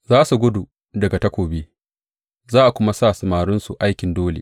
Za su gudu daga takobi za a kuma sa samarinsu aikin dole.